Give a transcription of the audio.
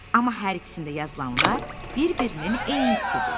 Amma hər ikisində yazılanlar bir-birinin eynisidir.